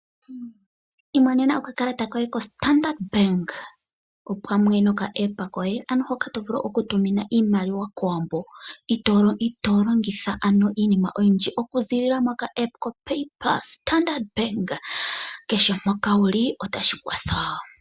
Imonena okakalata koye ko Standard Bank opamwe noka app koye ano hoka to vulu okutuma iimaliwa kOwambo, ito longitha ano iinima oyindji okuzilila mo ka app koPayPulse. Standard Bank kehe mpoka wuli, otashi kwatha.